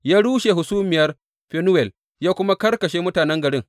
Ya rushe hasumiyar Fenuwel ya kuma karkashe mutanen garin.